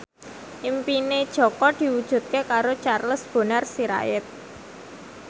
impine Jaka diwujudke karo Charles Bonar Sirait